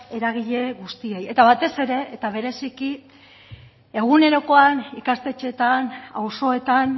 eragile guztiei eta batez ere eta bereziki egunerokoan ikastetxeetan auzoetan